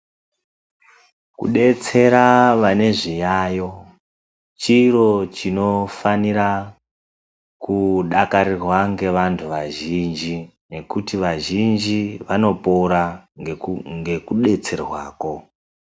Kudetsera vane zviyayo chiro chinofanira kudakarirwa ngevantu vazhinji, nekuti wazhinji vanopora ngekudetserwa koo.